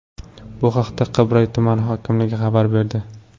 Bu haqda Qibray tumani hokimligi xabar berdi.